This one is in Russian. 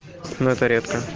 но это редко